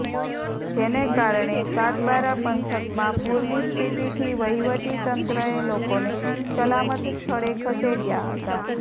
જેને કારણે સાગબારા પંથકમા પૂરની સ્થિતીથી વહીવટી તંત્રએ લોકોને સલામત સ્થળે ખસેડયા હતા